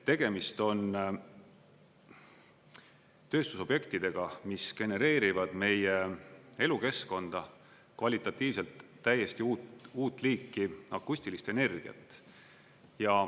Tegemist on tööstusobjektidega, mis genereerivad meie elukeskkonda kvalitatiivselt täiesti uut liiki akustilist energiat.